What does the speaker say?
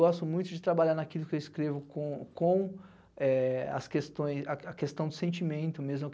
Gosto muito de trabalhar naquilo que escrevo com com eh as questões, a a questão do sentimento mesmo.